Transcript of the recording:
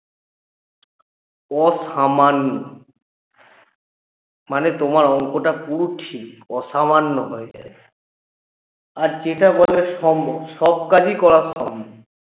অসামান্য মানে তোমার অংকটা পুরো ঠিক অসামান্য হয়ে যাবে আর সেটা বলা সম্ভব সব কাজই করা সম্ভব